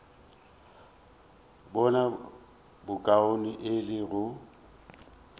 bone bokaone e le go